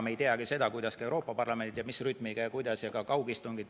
Me ei tea ka seda, kuidas ja mis rütmiga Euroopa Parlament töötab ja kuidas nad teevad kaugistungeid.